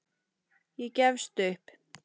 Ég gefst upp